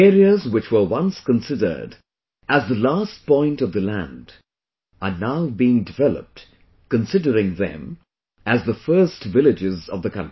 The areas which were once considered as the last point of the land are now being developed considering them as the first villages of the country